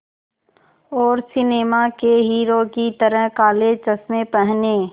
और सिनेमा के हीरो की तरह काले चश्मे पहने